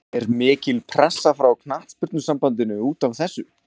Er mikil pressa frá Knattspyrnusambandinu útaf þessu?